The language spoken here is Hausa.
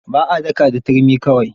Ba a daka da turmi kawai.